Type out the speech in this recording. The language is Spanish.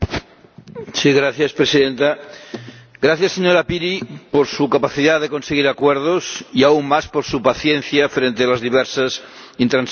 Señora Presidenta, gracias, señora Piri, por su capacidad para conseguir acuerdos y, aún más, por su paciencia frente a las diversas intransigencias.